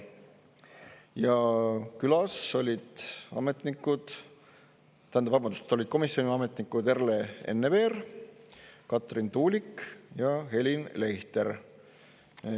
Ja külas olid, tähendab, vabandust, olid komisjoni ametnikud Erle Enneveer, Karin Tuulik ja Helin Leichter.